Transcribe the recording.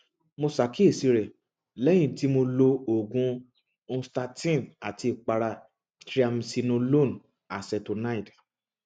mo ṣàkíyèsí rẹ lẹyìn tí mo lo oògùn nystatin àti ìpara triamcinolone acetonide